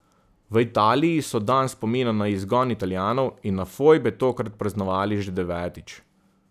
V Italiji so dan spomina na izgon Italijanov in na fojbe tokrat praznovali že devetič.